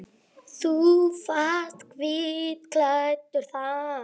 Þú varst hvítklæddur þá.